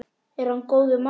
Er hann góður maður?